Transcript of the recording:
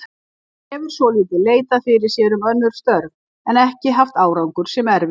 Hann hefur svolítið leitað fyrir sér um önnur störf en ekki haft árangur sem erfiði.